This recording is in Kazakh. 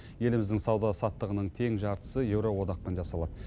еліміздің сауда саттығының тең жартысы еуроодақпен жасалады